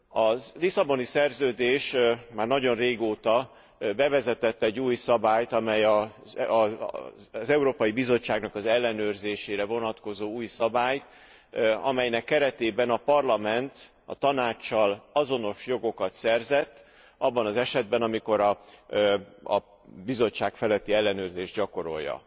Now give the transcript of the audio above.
A Lisszaboni Szerződés már nagyon régóta bevezetett egy az Európai Bizottság ellenőrzésére vonatkozó új szabályt, amelynek keretében a Parlament a Tanáccsal azonos jogokat szerzett abban az esetben, amikor a Bizottság feletti ellenőrzést gyakorolja.